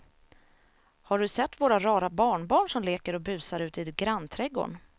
Har du sett våra rara barnbarn som leker och busar ute i grannträdgården!